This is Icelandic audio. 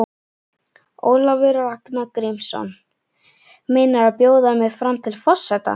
Ólafur Ragnar Grímsson: Meinarðu bjóða mig fram til forseta?